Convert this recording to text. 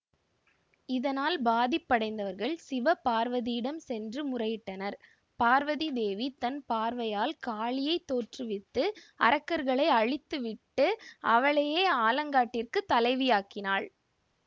இதனால் பாதிப்படைந்தவர்கள் சிவ பார்வதியிடம் சென்று முறையிட்டனர் பார்வதி தேவி தன் பார்வையால் காளியை தோற்றுவித்து அரக்கர்களை அழித்து விட்டு அவளையே ஆலங்காட்டிற்கு தலைவியாக்கினாள்